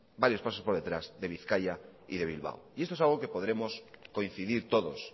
varios pasos por detrás de bizkaia y de bilbao y esto es algo que podremos coincidir todos